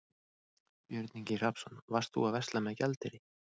Björn Ingi Hrafnsson: Varst þú að versla með gjaldeyri?